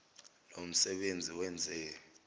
lo msebenzi wenze